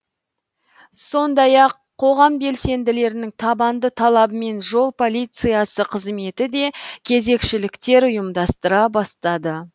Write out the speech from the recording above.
сондай ақ қоғам белсенділерінің табанды талабымен жол полициясы қызметі де кезекшіліктер ұйымдастыра бастады